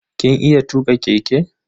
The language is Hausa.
Kin iya tuka keke?